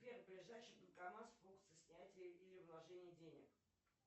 сбер ближайший банкомат с функцией снятия или вложения денег